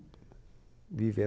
Viveram